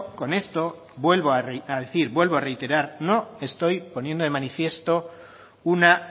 con esto vuelvo a decir vuelvo a reiterar no estoy poniendo de manifiesto una